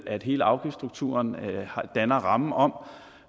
at hele afgiftsstrukturen danner rammen om